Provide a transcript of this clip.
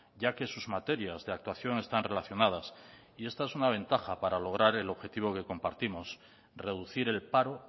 ya que sus materias de actuación están relacionadas y esta es una ventaja para lograr el objetivo que compartimos reducir el paro